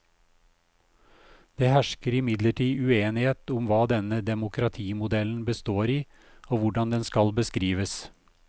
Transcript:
Det hersker imidlertid uenighet om hva denne demokratimodellen består i og hvordan den skal beskrives.